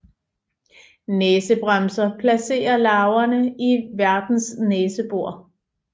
Næsebremser placerer larverne i værtens næsebor